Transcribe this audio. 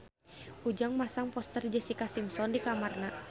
Ujang masang poster Jessica Simpson di kamarna